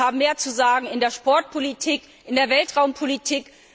Wir haben mehr zu sagen in der Sportpolitik, in der Weltraumpolitik.